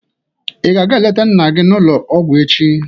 Ị ga aga-eleta nna gị n'ụlọ ọgwụ echi?